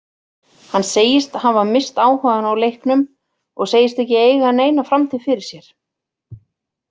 Hann segist hafa misst áhugann á leiknum og segist ekki eiga neina framtíð fyrir sér.